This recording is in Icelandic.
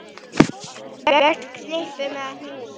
Vex í knippum eða hnúðum.